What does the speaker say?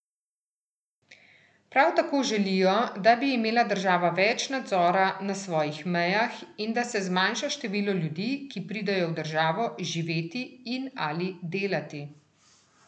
Prav tako želijo, da bi imela država več nadzora na svojih mejah in da se zmanjša število ljudi, ki pridejo v državo živeti in ali delati.